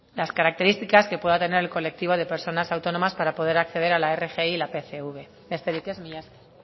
las características que pueda tener el colectivo de personas autónomas para poder acceder a la rgi y al pcv besterik ez mila esker